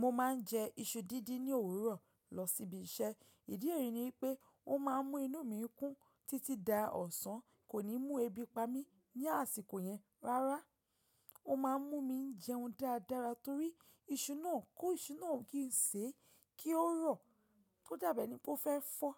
Mo máa ń jẹ iṣu dídín ní òwúrọ̀ lọ síbi iṣẹ́. Ìdí èyí ni pé ó máa ń mú inú mi kún títí dá ọ̀sán, kò ní mú ebi pa mí ní àsìkò yẹn rárá. Ó máa ń mú mi jẹun dáadáa torí iṣu náà kó iṣu náà kí n sè é kí ó rọ̀. Ó dàbí ẹni pé ó fẹ́ fọ́